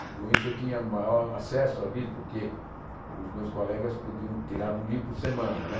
E com isso eu tinha maior acesso aos livros, porque os meus colegas podiam tirar um livro por semana né.